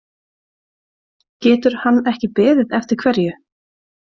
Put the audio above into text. Getur hann ekki beðið eftir hverju?